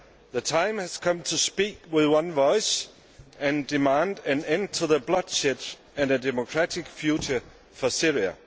The time has come to speak with one voice and demand an end to the bloodshed and a democratic future for Syria.